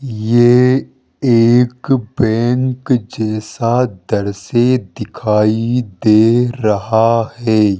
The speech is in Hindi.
ये एक बैंक जैसा दृश्य दिखाई दे रहा है।